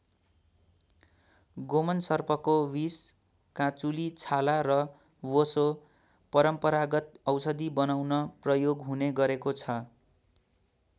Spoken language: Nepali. गोमन सर्पको विष काँचुली छाला र बोसो परम्परागत औषधि बनाउन प्रयोग हुने गरेको छ।